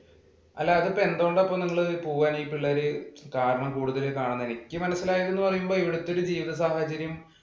അല്ല ഇപ്പോൾ ഇത് എന്തുകൊണ്ട് പോവാനീ പിള്ളേര് കാരണം കൂടുതലായി കാണുന്നത്. എനിക്ക് തോന്നുന്നത് ഇവിടുത്തെ ജീവിത സാഹചര്യം